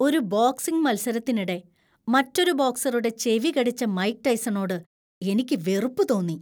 ഒരു ബോക്സിംഗ് മത്സരത്തിനിടെ മറ്റൊരു ബോക്സറുടെ ചെവി കടിച്ച മൈക്ക് ടൈസണോട് എനിക്ക് വെറുപ്പ് തോന്നി.